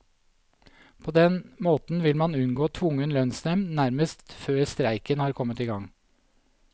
På den måten vil man unngå tvungen lønnsnevnd nærmest før streiken har kommet i gang.